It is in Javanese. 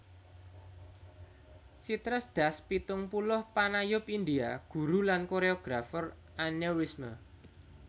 Chitresh Das pitung puluh panayub India guru lan koréografer aneurisme